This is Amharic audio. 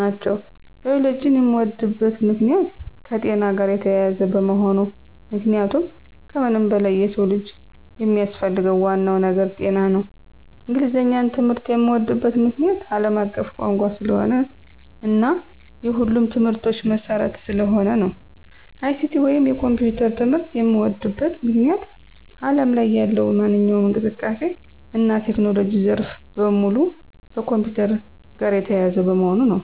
ናቸው። ባዮሎጂን የምወድበት ምክንያት - የከጤና ጋር የተያያዘ በመሆኑ ምክንያቱም ከምንም በላይ የሰው ልጅ የሚያስፈልገው ዋናው ነገር ጤና ነው። እንግሊዘኛን ትምህርት የምዎድበት ምክንያት - አለም አቀፍ ቋንቋ ስለሆነ እና የሁሉም ትምህርቶች መሰረት ስለሆነ ነው። ICT ወይንም የኮምፒውተር ትምህርት የምዎድበት ምክንያት አለም ላይ ያለው ማንኛውም እንቅስቃሴ እና የቴክኖሎጂ ዘርፍ በሙሉ ከኮምፒውተር ጋር የተያያዘ በመሆኑ ነው።